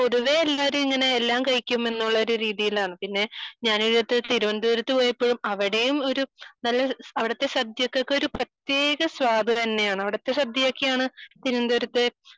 പൊതുവെ എല്ലാരും ഇങ്ങനെ എല്ലാം കഴിക്കും എന്നുള്ള ഒരു രീതിയിലാണ് പിന്നെ ഞാൻ ഈയടുത്തു തിരുവന്തപുരത്തു പോയപ്പോൾ അവിടെയും ഒരു നല്ല അവിടുത്തെ സദ്യക്ക് ഒരു പ്രത്യേക സ്വാദു തന്നെയാണ് . അവിടുത്തെ സദ്യയൊക്കെയാണ് തിരുവന്തപുരത്തെ